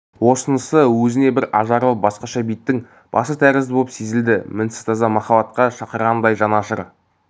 осынысы өзіне бір ажарлы басқаша беттің басы тәрізді боп сезілді мінсіз таза махаббатқа шақырғандай жан ашыр